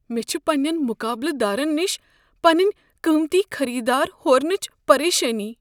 مےٚ چھ پننین مقابلہٕ دارن نش پنٕنۍ قۭمتی خٔریٖدار ہورنچہِ پریشٲنی۔